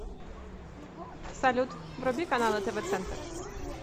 салют вруби каналы тв центр